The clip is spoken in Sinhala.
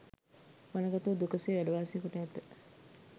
වනගතව දුක සේ වැඩ වාසය කොට ඇත.